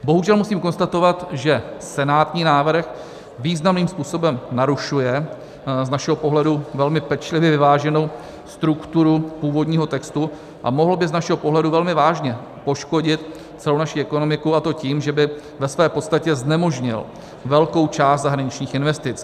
Bohužel musím konstatovat, že senátní návrh významným způsobem narušuje z našeho pohledu velmi pečlivě vyváženou strukturu původního textu a mohl by z našeho pohledu velmi vážně poškodit celou naši ekonomiku, a to tím, že by ve své podstatě znemožnil velkou část zahraničních investic.